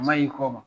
A ma y'i kɔma